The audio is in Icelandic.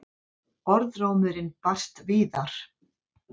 Orðrómurinn barst víðar.